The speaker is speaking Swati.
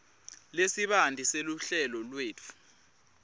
lesibanti seluhlelo lwetfu